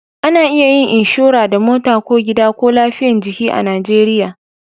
A na iya yin inshora da mota ko gida ko lafiyan jiki a najeriya